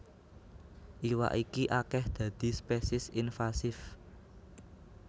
Iwak iki akèh dadi spesies invasif